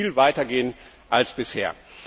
Wir müssen viel weiter gehen als bisher.